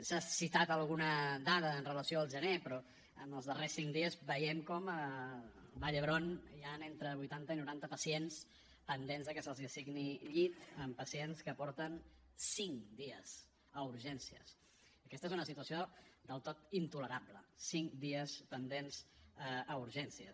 s’ha citat alguna dada amb relació al gener però en els darrers cinc dies veiem com al vall d’hebron hi han entre vuitanta i noranta pacients pendents de que se’ls assigni llit amb pacients que porten cinclerable cinc dies pendents a urgències